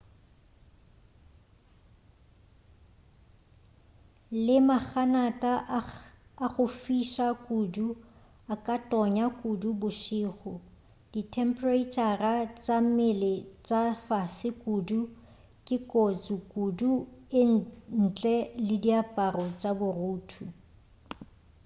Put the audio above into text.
le maganata a go fiša kudu a ka tonya kudu bošego dithemphereitšhara tša mmele tša fase kudu ke kotsi kudu ntle le diaparo tša borutho